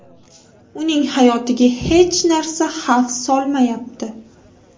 Uning hayotiga hech narsa xavf solmayapti.